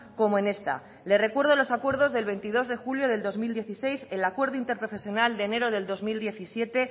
como en esta le recuerdo los acuerdos del veintidós de julio de dos mil dieciséis el acuerdo interprofesional de enero del dos mil diecisiete